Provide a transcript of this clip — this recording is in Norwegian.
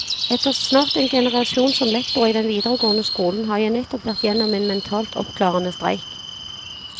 Etter snart en generasjon som lektor i den videregående skolen har jeg nettopp vært gjennom en mentalt oppklarende streik.